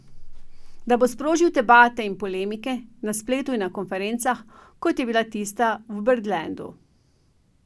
Da bo sprožil debate in polemike, na spletu in na konferencah, kot je bila tista v Birdlandu.